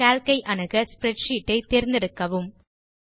Calc ஐ அணுக spreadsheet ஐ தேர்ந்தெடுக்கவும்